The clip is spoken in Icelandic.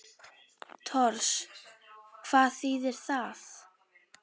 Tors. hvað þýðir það?